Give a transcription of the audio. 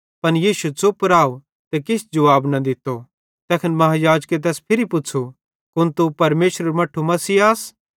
पन यीशु च़ुप राव ते किछ जुवाब न दित्तो तैखन महायाजके तैस फिरी पुच़्छ़ू कुन तू परमेशरेरू मट्ठू मसीह आस